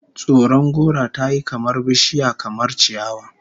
Tsoron gora tayi kamar bishiya kamar ciyawa